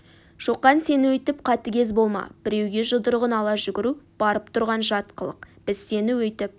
шоқан сен өйтіп қатыгез болма біреуге жұдырығын ала жүгіру барып тұрған жат қылық біз сені өйтіп